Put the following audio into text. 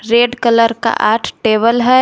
Red colour का आठ table है।